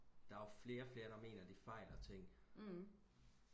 der er jo flere og flere der mener de fejler ting